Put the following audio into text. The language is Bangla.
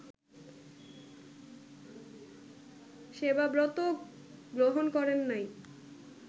সেবাব্রত গ্রহণ করেন নাই